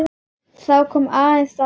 Það kom aðeins á mömmu.